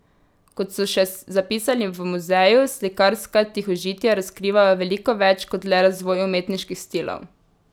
Kot so še zapisali v muzeju, slikarska tihožitja razkrivajo veliko več kot le razvoj umetniških stilov.